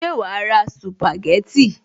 Ṣé wàá ra sìpàgẹ́tì